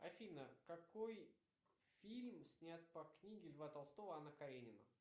афина какой фильм снят по книге льва толстого анна каренина